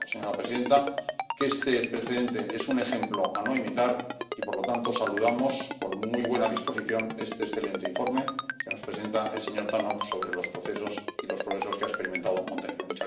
Creo, señora presidenta, que este precedente es un ejemplo a no imitar y, por lo tanto, saludamos con muy buena disposición este excelente informe que nos presenta el señor Tannock sobre los procesos y los progresos que ha experimentado Montenegro.